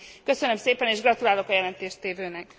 Köszönöm szépen, és gratulálok a jelentéstévőnek.